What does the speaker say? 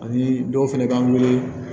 Ani dɔw fɛnɛ b'an wele